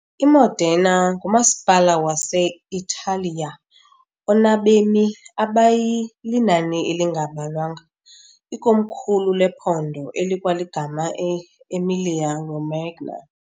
I-Modena ngumasipala wase-Italiya onabemi abayi linani elingabalwanga, ikomkhulu lephondo elikwaligama e - Emilia-Romagna .